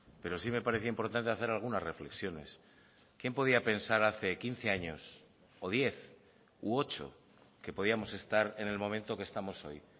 pero sí me parece importante hacer algunas reflexiones quién podía pensar hace quince años o diez u ocho que podíamos estar en el momento que estamos hoy